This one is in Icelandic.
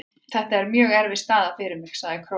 Þetta er mjög erfið staða fyrir mig, sagði Króatinn.